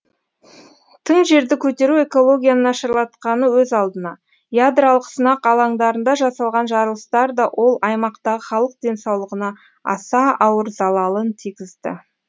тың жерді көтеру экологияны нашарлатқаны өз алдына ядролық сынақ алаңдарында жасалған жарылыстар да ол аймақтағы халық денсаулығына аса ауыр залалын тигізді